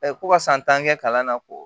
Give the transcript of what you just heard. ko ka san tan kɛ kalan na ko